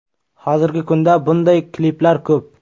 Hozirgi kunda bunday kliplar ko‘p.